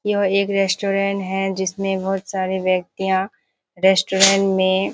यह एक रेस्टोरेंट है जिसमें बहुत सारे व्यक्तियाँ रेस्टोरेंट में।